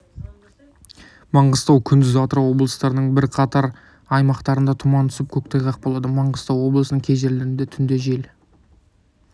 маңғыстау күндіз атырау облыстарының бірқатар аймақтарында тұман түсіп көктайғақ болады маңғыстау облысының кей жерлерінде түнде жел